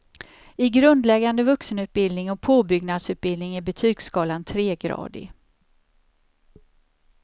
I grundläggande vuxenutbildning och påbyggnadsutbildning är betygsskalan tregradig.